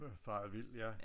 Faret vild ja